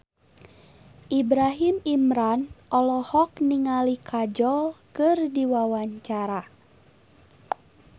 Ibrahim Imran olohok ningali Kajol keur diwawancara